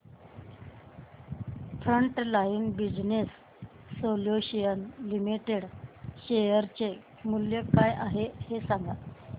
frontline Business Solutions Limited share चे मूल्य काय आहे हे सांगा